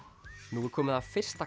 nú er komið að fyrsta